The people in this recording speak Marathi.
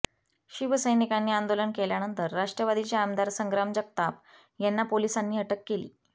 शिवसैनिकांनी आंदोलन केल्यानंतर राष्ट्रवादीचे आमदार संग्राम जगताप यांना पोलिसांनी अटक केली